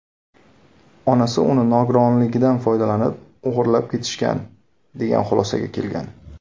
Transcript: Onasi uni nogironligidan foydalanib, o‘g‘irlab ketishgan, degan xulosaga kelgan.